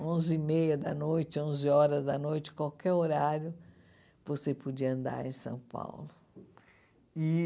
Onze e meia da noite, onze horas da noite, qualquer horário, você podia andar em São Paulo. E